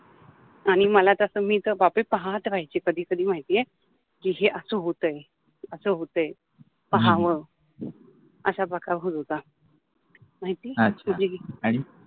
आणी मला तस मि तर वाटच पाहात राहायचि कधि कधि माहिति आहे कि हे अस होतय अस होतय पाहाव असा प्रकार होत होता अच्छा आणि